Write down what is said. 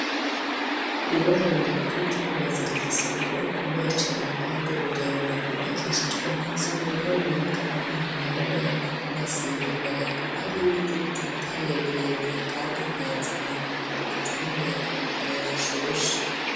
Ibohero rikuru ry'ingozi rifise urugo rukomeye cane ,kandi rurerure gubakishijwe n'ivyuma ,ho biboneka ko nta munyororo yopfa kuhasimba imbere hakaba ari ibiti bitotaye ,birebire kandi nganza marumbo biza n'umuyaga mugiye hashushe.